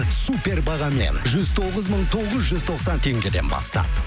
супер бағамен жүз тоғыз мың тоғыз жүз тоқсан теңгеден бастап